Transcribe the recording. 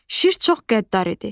Şir çox qəddar idi.